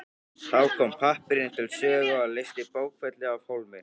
Þá kom pappírinn til sögu og leysti bókfellið af hólmi.